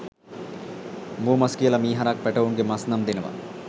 මුවමස් කියලා මී හරක් පැටවුන්ගේ මස් නම් දෙනවා.